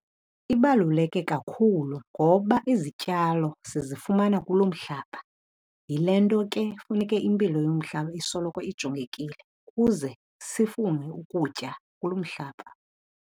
Ibaluleke kakhulu ngoba izityalo sizifumana kulo mhlaba. Yile nto ke funeke impilo yomhlaba isoloko ijongekile kuze sifune ukutya kulo mhlaba.